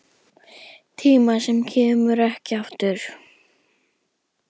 Tíma sem kemur ekki aftur.